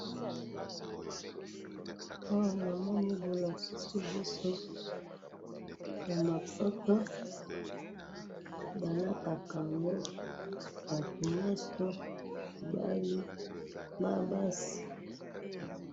awa namoni bolakisi biso ba mapapa balataka yango ,batu nionso mibali na basi